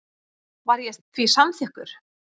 Var ég því samþykkur.